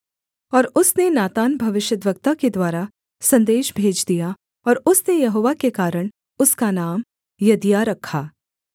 और उसने नातान भविष्यद्वक्ता के द्वारा सन्देश भेज दिया और उसने यहोवा के कारण उसका नाम यदिद्याह रखा